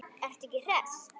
Ertu ekki hress?